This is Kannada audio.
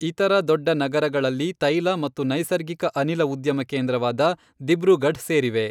ಇತರ ದೊಡ್ಡ ನಗರಗಳಲ್ಲಿ ತೈಲ ಮತ್ತು ನೈಸರ್ಗಿಕ ಅನಿಲ ಉದ್ಯಮ ಕೇಂದ್ರವಾದ ದಿಬ್ರುಗಢ್ ಸೇರಿವೆ.